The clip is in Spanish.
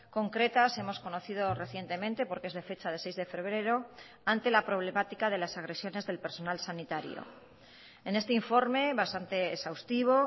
concretas hemos conocido recientemente porque es de fecha de seis de febrero ante la problemática de las agresiones del personal sanitario en este informe bastante exhaustivo